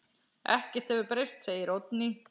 Ekkert hefur breyst, segir Oddný.